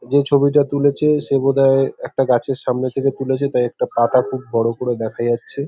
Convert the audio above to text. যে ছবিটা তুলেছে সে বোধহয় একটা গাছের সামনে থেকে তুলেছে। তাই একটা পাতা খুব বড় করে দেখা যাচ্ছে।